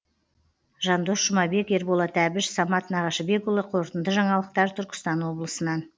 жандос жұмабек ерболат әбіш самат нағашыбекұлы қорытынды жаңалықтар түркістан облысынан